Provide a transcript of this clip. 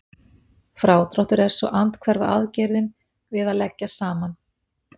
Frádráttur er svo andhverfa aðgerðin við að leggja saman.